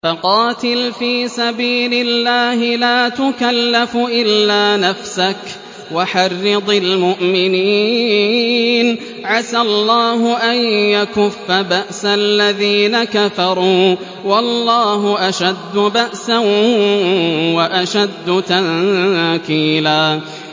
فَقَاتِلْ فِي سَبِيلِ اللَّهِ لَا تُكَلَّفُ إِلَّا نَفْسَكَ ۚ وَحَرِّضِ الْمُؤْمِنِينَ ۖ عَسَى اللَّهُ أَن يَكُفَّ بَأْسَ الَّذِينَ كَفَرُوا ۚ وَاللَّهُ أَشَدُّ بَأْسًا وَأَشَدُّ تَنكِيلًا